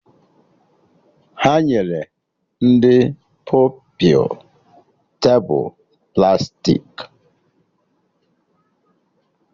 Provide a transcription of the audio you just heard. Ha nyere ndị Pupilụ tebụl plastiki